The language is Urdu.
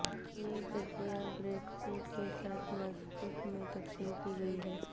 یہ گدیاں بریڈ فورڈ کی سات مساجد میں تقسیم کی گئی ہیں